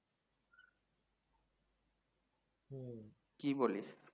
কি বলিস?